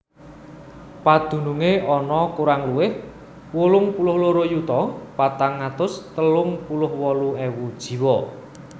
Padunungé ana kurang luwih wolung puluh loro yuta patang atus telung puluh wolu ewu jiwa